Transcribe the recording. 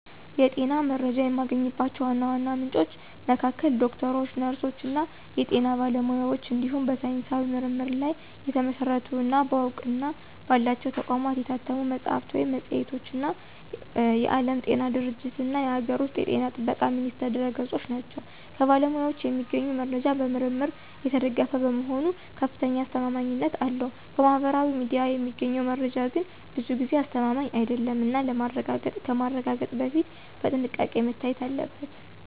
የጤና መረጃ የማገኝባቸው ዋና ዋና ምንጮች መካከል ዶክተሮች፣ ነርሶች እና የጤና ባለሙያዎች እንዲሁም በሳይንሳዊ ምርምር ላይ የተመሰረቱ እና በእውቅና ባላቸው ተቋማት የታተሙ መጽሐፍት ወይም መጽሔቶች እና የዓለም ጤና ድርጅትእና የአገር ውስጥ ጤና ጥበቃ ሚኒስቴር ድረ-ገጾች ናቸው። ከባለሙያዎች የሚገኘው መረጃ በምርምር የተደገፈ በመሆኑ ከፍተኛ አስተማማኝነት አለው። ከማህበራዊ ሚዲያ የሚገኘው መረጃ ግን ብዙ ጊዜ አስተማማኝ አይደለም እና ከማረጋገጥ በፊት በጥንቃቄ መታየት አለበት።